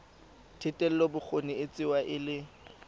thetelelobokgoni e tsewa e le